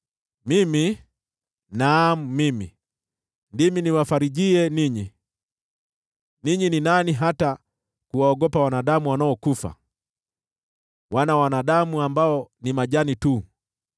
“Mimi, naam mimi, ndimi niwafarijie ninyi. Ninyi ni nani hata kuwaogopa wanadamu wanaokufa, wanadamu ambao ni majani tu,